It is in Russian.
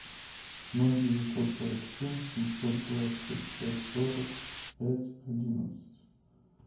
ноль девятьсот сорок семь семьсот двадцать пять сорок пять одиннадцать